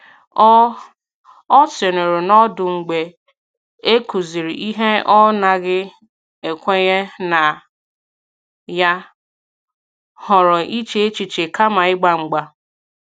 Ọ Ọ sìnuru n’ọdụ mgbe e kụziri ihe ọ̀ naghị ekwenye na ya, họrọ iche echiche kama ịgba mgba.